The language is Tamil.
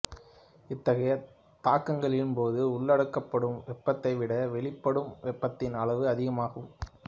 இத்தகைய தாக்கங்களின் போது உள்ளெடுக்கப்படும் வெப்பத்தைவிட வெளியிடப்படும் வெப்பத்தின் அளவு அதிகமாகும்